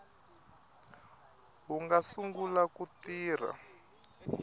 wu nga sungula ku tirha